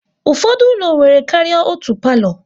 Ụfọdụ ụlọ nwere karịa otú palo